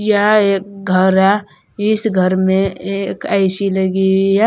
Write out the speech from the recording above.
यह एक घर है इस घर में एक ए_सी लगी हुई है।